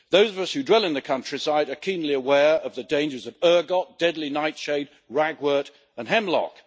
Those of us who dwell in the countryside are keenly aware of the dangers of ergot, deadly nightshade, ragwort and hemlock.